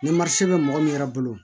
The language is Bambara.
Ni marise bɛ mɔgɔ min yɛrɛ bolo